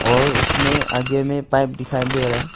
और उसमें आगे में पाइप दिखाई दे रहा है।